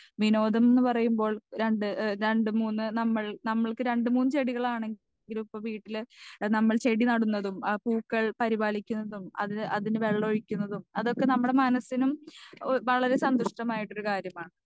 speaker 2 വിനോദം ന്ന് പറയുമ്പോൾ രണ്ട് എഹ് രണ്ട് മൂന്ന് നമ്മൾ നമ്മൾക്ക് രണ്ട് മൂന്ന് ചെടികളാണെ ങ്കിൽ ഇപ്പൊ വീട്ടിൽ നമ്മൾ ചെടി നടുന്നതും ആ പൂക്കൾ പരിപാലിക്കുന്നതും അത് അതിന് വെള്ള ഒഴിക്കുന്നതും അതൊക്കെ നമ്മടെ മനസിനും എഹ് വളരെ സന്തുഷ്ട്ടമായിട്ടൊരു കാര്യമാണ്